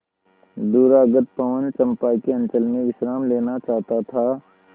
दूरागत पवन चंपा के अंचल में विश्राम लेना चाहता था